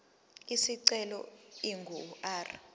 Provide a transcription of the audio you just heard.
isicelo ingu r